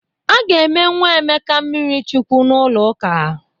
A ga-eme nwa Emeka mmirichukwu n'ụlọ ụka.